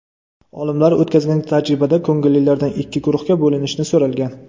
Olimlar o‘tkazgan tajribada ko‘ngillilardan ikki guruhga bo‘linishni so‘ralgan.